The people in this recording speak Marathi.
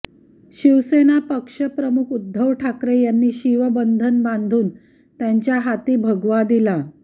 शिवसेना पक्षप्रमुख उद्धव ठाकरे यांनी शिवबंधन बांधून त्यांच्या हाती भगवा दिला